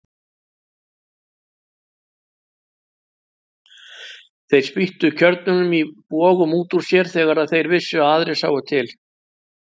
Þeir spýttu kjörnunum í bogum út úr sér þegar þeir vissu að aðrir sáu til.